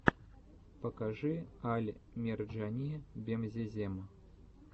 покажи аль мерджани бемзезем